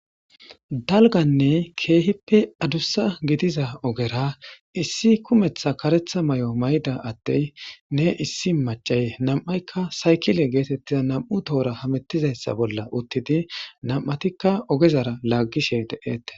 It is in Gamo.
Dalganne keehippe adussa gidiza ogera issi kumetha karetha mayo mayda attey ne issi macay nam7aykka saykile geetettiza nam'u tohora hamettizayssa bolla uttidi nam'atikka ogezara laaggishe de'ettes.